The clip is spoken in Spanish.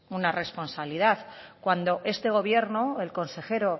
una responsabilidad cuando este gobierno el consejero